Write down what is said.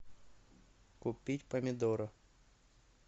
купить помидоры